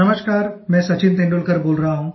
नमस्कार मैं सचिन तेंदुलकर बोल रहा हूँ